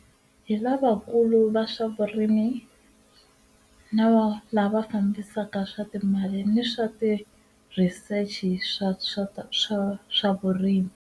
Hi lavakulu va swa vurimi na va lava fambisaka swa timali ni swa ti-research-i swa swa swa vurimi.